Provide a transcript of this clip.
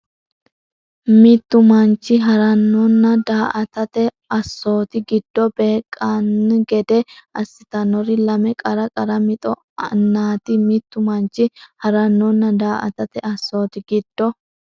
Mittu manchi ha’rannonna daa”atate assooti giddo beeqqan- gede assitannori lame qara qara mixo nna ti Mittu manchi ha’rannonna daa”atate assooti giddo.